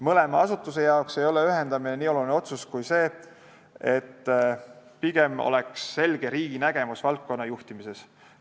Mõlema asutuse jaoks ei ole ühendamine nii oluline otsus kui see, et riigil oleks selge nägemus valdkonna juhtimisest.